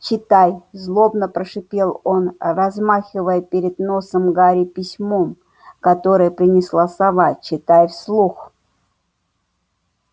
читай злобно прошипел он размахивая перед носом гарри письмом которое принесла сова читай вслух